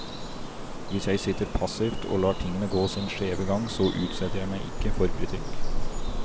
Hvis jeg sitter passivt og lar tingene gå sin skjeve gang, så utsetter jeg meg ikke for kritikk.